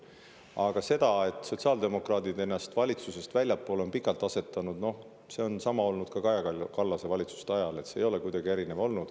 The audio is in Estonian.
Aga see, et sotsiaaldemokraadid ennast pikalt valitsusest väljapoole asetasid – no see oli samamoodi Kaja Kallase valitsuste ajal, see ei olnud kuidagi erinev.